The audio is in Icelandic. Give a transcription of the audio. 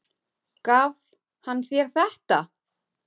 Gaf hann þér þetta?